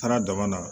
Taara daba la